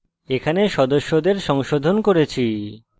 এখানে সদস্যদের সংশোধন করেছি